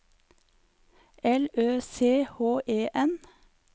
L Ø C H E N